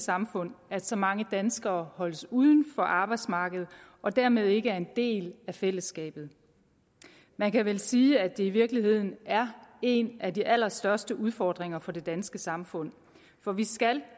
samfund at så mange danskere holdes uden for arbejdsmarkedet og dermed ikke er en del af fællesskabet man kan vel sige at det i virkeligheden er en af de allerstørste udfordringer for det danske samfund for vi skal